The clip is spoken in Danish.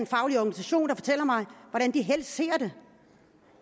faglig organisation der fortæller mig hvordan de helst ser det